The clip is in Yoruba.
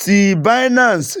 ti Binance fi